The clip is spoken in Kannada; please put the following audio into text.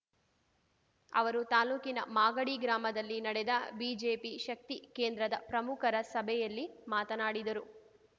ಅವರು ತಾಲೂಕಿನ ಮಾಗಡಿ ಗ್ರಾಮದಲ್ಲಿ ನಡೆದ ಬಿಜೆಪಿ ಶಕ್ತಿ ಕೇಂದ್ರದ ಪ್ರಮುಖರ ಸಭೆಯಲ್ಲಿ ಮಾತನಾಡಿದರು